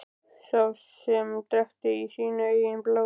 Sem hann drekkti í sínu eigin blóði.